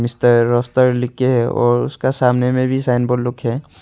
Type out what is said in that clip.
Mister roster लिखे है और उसका सामने में भी साइन बोर्ड लुक है।